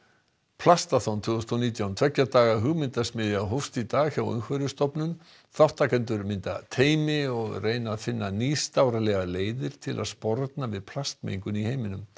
plastaþon tvö þúsund og nítján tveggja daga hugmyndasmiðja hófst í dag hjá Umhverfisstofnun þátttakendur mynda teymi og reyna að finna nýstárlegar leiðir til að sporna við plastmengun í heiminum